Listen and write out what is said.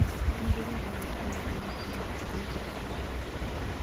nĩndĩrenda gũũkĩra thĩnacara rũcĩĩni tafadhalĩ